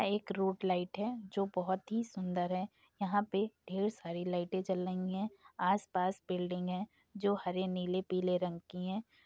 यह एक road light है जो बहुत ही सुन्दर है यहा पे ढेर सारी लाईट जल रही है आसपास बिल्डिंग है जो हरे नीले पीले रंग की है।